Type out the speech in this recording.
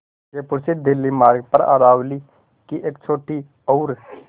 जयपुर से दिल्ली मार्ग पर अरावली की एक छोटी और